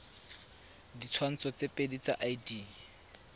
ditshwantsho tse pedi tsa id